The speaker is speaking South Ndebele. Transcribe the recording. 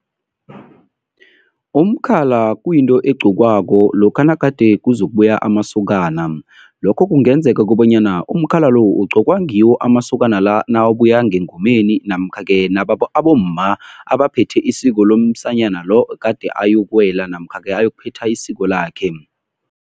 Umkhala kuyinto egqokwako lokha nagade kuzokubuya amasokana. Lokho kungenzeka kobanyana umkhala lo, ugqokwa ngiwo amasokana la nawabuya ngengomeni namkha-ke abomma abaphethe isiko lomsanyana lo ogade ayokuwela namkha-ke ayokuphetha isiko lakhe.